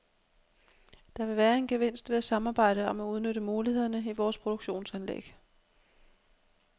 Der vil være en gevinst ved at samarbejde om at udnytte mulighederne i vores produktionsanlæg.